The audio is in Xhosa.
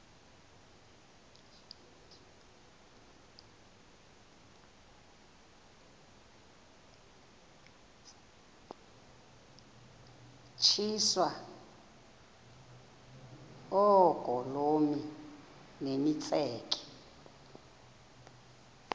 tyiswa oogolomi nemitseke